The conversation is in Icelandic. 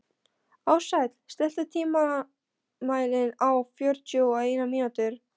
Ársæll, stilltu tímamælinn á fjörutíu og eina mínútur.